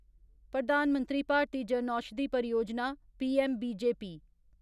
प्रधान मंत्री भारतीय जनौषधि परियोजना' पीएमबीजेपी